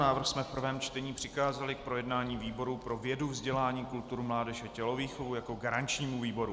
Návrh jsme v prvém čtení přikázali k projednání výboru pro vědu, vzdělání, kulturu, mládež a tělovýchovu jako garančnímu výboru.